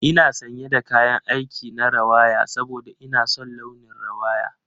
Ina sanye da kayan aik na rawaya saboda ina son launin rawaya.